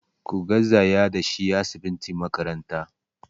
Ku garzaya da shi asibitin makaranta!